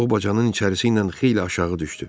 O bacanın içərisi ilə xeyli aşağı düşdü.